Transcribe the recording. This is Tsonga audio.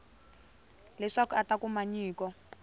leswaku a ta kuma nyiko